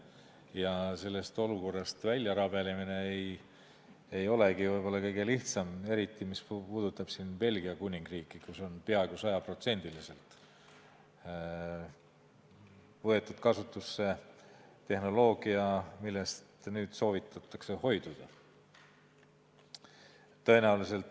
Ja sellest olukorrast välja rabelemine ei olegi võib-olla kõige lihtsam, eriti mis puudutab Belgia Kuningriiki, kus on peaaegu sajaprotsendiliselt võetud kasutusele tehnoloogia, millest nüüd soovitatakse hoiduda.